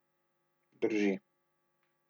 Drži.